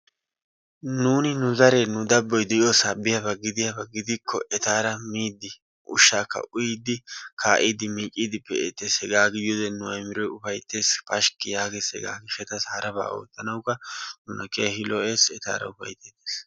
Nuuni nu zaree, nu dabboy diyoosa biyaaba giddiyaaba gidikko etaara miidi ushsakka uyyidi kaa'idi miiccidi pe'eettees. Hegaa gidiyoode nu ayimiroy ufayttees, pashkki yaagees. Hegaa gishshataw harabaa oottanawukka nuna keehin lo''ees etaara ufaytteetes.